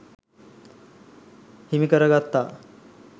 හිමිකරගත්තා